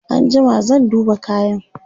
an jima zan duba kayan